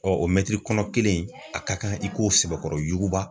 Ɔ o mɛtiri kɔnɔ kelen in a ka kan i k'o sɛbɛkɔrɔ yuguba